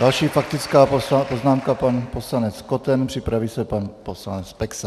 Další faktická poznámka pan poslanec Koten, připraví se pan poslanec Peksa.